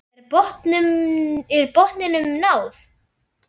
Er botninum náð?